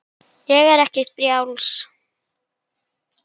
Er ég ekki frjáls?